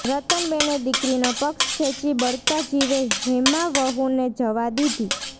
રતનબેને દીકરીનો પક્ષ ખેંચી બળતા જીવે હેમાવહુને જવા દીધી